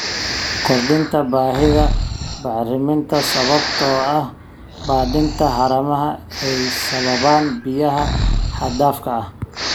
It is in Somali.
Kordhinta baahida bacriminta sababtoo ah badinta haramaha ee ay sababaan biyaha xad dhaafka ah.